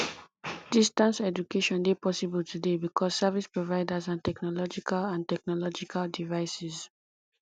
distance education de possible today because service providers and technological and technological devices